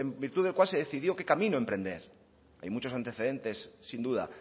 virtud del cual se decidió qué camino emprender hay muchos antecedentes sin duda